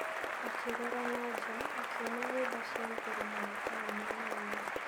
Akĩrora na nja, akĩona nyũmba cia igũrũ mũno taũni-inĩ ĩyo.